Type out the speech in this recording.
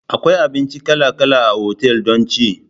Akwai abinci kala kala a otal don ci.